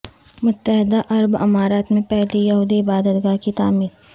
متحدہ عرب امارات میں پہلی یہودی عبادت گاہ کی تعمیر